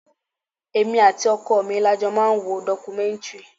Èmi àti ọkọ mi la jọ máa ń wo documentary.